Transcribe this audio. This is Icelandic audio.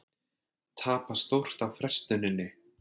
Tapa stórt á frestuninni